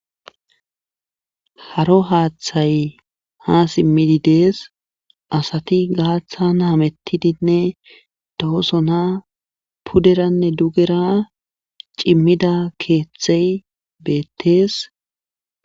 Haro haaththay ha simmidi dees asati gaaththan hamettidinne doosona puderanne dugera cimmida keeththey beettees.